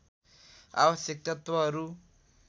आवश्यक तत्त्वहरू